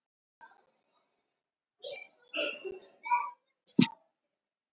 Engin sátt ríkti um það hverju þetta breytti um stöðu Íslands innan ríkisins.